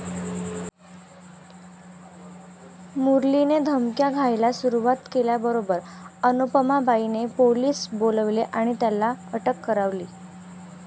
मुरलीने धमक्या द्यायाला सुरूवात केल्याबरोबर अनुपमाबाईंनी पोलीस बोलवले आणि त्याला अटक करवली.